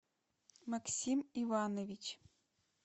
максим иванович